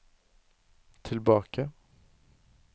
tilbake